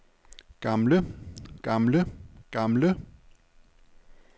gamle gamle gamle